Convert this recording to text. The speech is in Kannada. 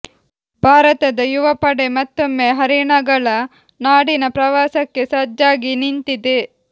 ಭಾರತದ ಯುವ ಪಡೆ ಮತ್ತೊಮ್ಮೆ ಹರಿಣಗಳ ನಾಡಿನ ಪ್ರವಾಸಕ್ಕೆ ಸಜ್ಜಾಗಿ ನಿಂತಿದೆ